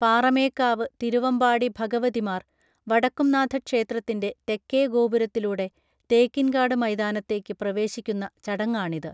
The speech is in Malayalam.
പാറമേക്കാവ് തിരുവമ്പാടി ഭഗവതിമാർ വടക്കുംനാഥ ക്ഷേത്രത്തിന്റെ തെക്കേഗോപുരത്തിലൂടെ തേക്കിൻകാട് മൈതാനത്തേക്ക് പ്രവേശിക്കുന്ന ചടങ്ങാണിത്